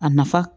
A nafa